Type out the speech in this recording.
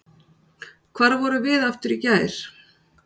Hvar vorum við aftur í gær?